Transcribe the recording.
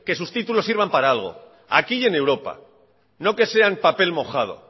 sus títulos sirvan para algo aquí y en europa no que sean papel mojado